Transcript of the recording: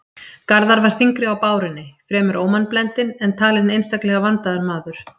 Garðar var þyngri á bárunni, fremur ómannblendinn, en talinn einstaklega vandaður maður.